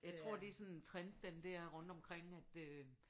Jeg tror det er sådan en trend den dér rundt omkring at øh